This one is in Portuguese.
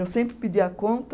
Eu sempre pedi a conta.